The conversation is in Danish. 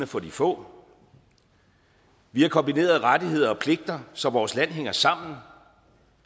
for de få vi har kombineret rettigheder og pligter så vores land hænger sammen